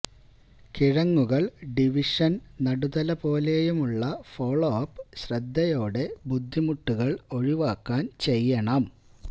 കിഴങ്ങുകൾ division നടുതലപോലെയും നുള്ള follow up ശ്രദ്ധയോടെ ബുദ്ധിമുട്ടുകൾ ഒഴിവാക്കാൻ ചെയ്യണം